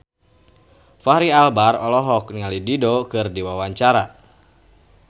Fachri Albar olohok ningali Dido keur diwawancara